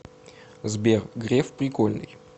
сбер греф прикольный